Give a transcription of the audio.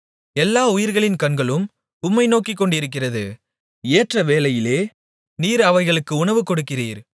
எல்லா உயிர்களின் கண்களும் உம்மை நோக்கிக்கொண்டிருக்கிறது ஏற்ற வேளையிலே நீர் அவைகளுக்கு உணவுகொடுக்கிறீர்